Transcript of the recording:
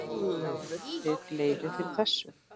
Gáfuð þið leyfi fyrir þessu?